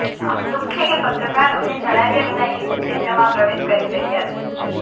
અમને દુઃખ છે કે પત્રકાર અમને જણાવ્યા વિના યુદ્ધ ક્ષેત્રમાં પ્રવેશ કરી રહ્યા છે